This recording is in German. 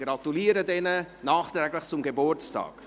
Ich gratuliere Ihnen nachträglich zum Geburtstag.